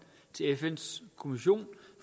til fns kommission